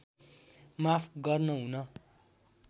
माफ गर्न हुन